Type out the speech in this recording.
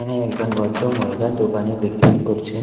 একজন ভদ্র মহিলা দোকানে বিক্রি করছেন।